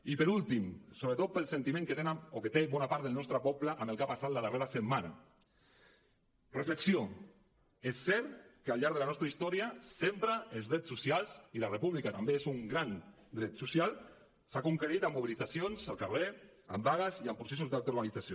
i per últim sobretot per al sentiment que té bona part del nostre poble amb el que ha passat la darrera setmana reflexió és cert que al llarg de la nostra història sempre els drets socials i la república també és un gran dret social s’han conquerit amb mobilitzacions al carrer amb vagues i amb processos d’autoorganització